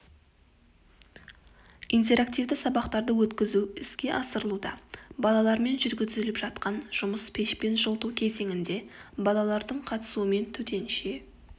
интерактивті сабақтарды өткізу іске асырылуда балалармен жүргізіліп жатқан жұмыс пешпен жылыту кезеңінде балалардың қатысуымен төтенше